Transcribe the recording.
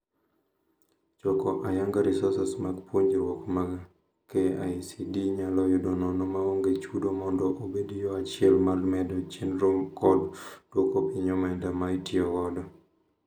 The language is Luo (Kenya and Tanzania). Choko ayanga resources mag puonjruok ma KICD nyalo yudo nono maonge chudo mondo obed yoo achiel mar medo chendro kod dwoko piny omenda ma itiyo godo.